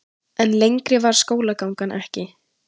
En lengri varð skólagangan ekki.